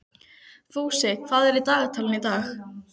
Ég fer til Andalúsíu í ágúst.